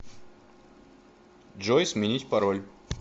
джой сменить пароль